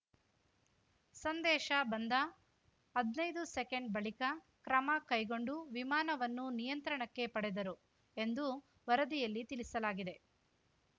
ಸಂದೇಶ ಬಂದ ಹದ್ನೈದು ಸೆಕೆಂಡ್‌ ಬಳಿಕ ಕ್ರಮ ಕೈಗೊಂಡು ವಿಮಾನವನ್ನು ನಿಯಂತ್ರಣಕ್ಕೆ ಪಡೆದರು ಎಂದು ವರದಿಯಲ್ಲಿ ತಿಳಿಸಲಾಗಿದೆ